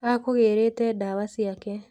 Akũgĩrĩte ndawa ciake.